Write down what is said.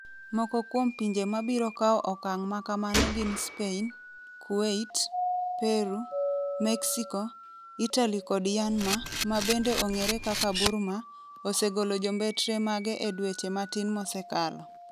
Moko kuom pinje ma biro kawo okang ' ma kamano gin Spain, Kuwait, Peru, Mexico, Italy kod Myanmar ma bende ong'ere kaka Burma, osegolo jombetre mage e dweche matin mosekalo.